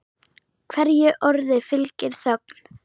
Hverju orði fylgir þögn.